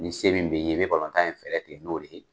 Ni se min bɛ n ye , n bɛ balontan in fɛɛrɛ kɛ n'o de ye.